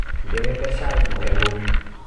Ndĩrenda cai mũhehu